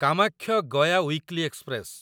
Kamakhya Gaya weekly express